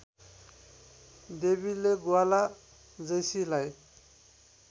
देवीले ग्वाला जैसीलाई